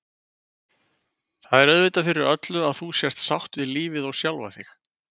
Það er auðvitað fyrir öllu að þú sért sátt við lífið og sjálfa þig.